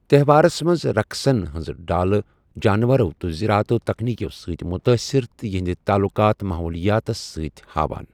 تَہوارس منٛز رقسن ہنزٕ ڈالہٕ جانوَرو تہٕ زَرٲعتو تکنیٖکو سۭتۍ مُتٲثِر تہٕ یِہِنٛدِ تعلُقات ماحولِیاتس سۭتۍ ہاوان ۔